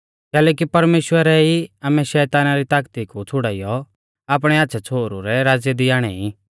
कैलैकि परमेश्‍वरै ई आमै शैताना री तागती कु छ़ुड़ाइयौ आपणै आच़्छ़ै छ़ोहरु रै राज़्य दी आणै ई